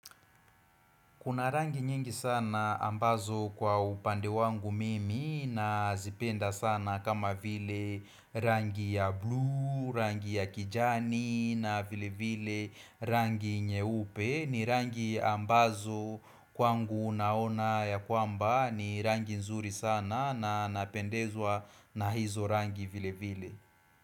Kuna rangi nyingi sana ambazo kwa upande wangu mimi nazipenda sana kama vile rangi ya blue, rangi ya kijani na vilevile rangi nyeupe ni rangi ambazo kwangu naona ya kwamba ni rangi nzuri sana na napendezwa na hizo rangi vile vile.